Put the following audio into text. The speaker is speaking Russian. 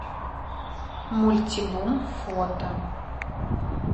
мультибум фото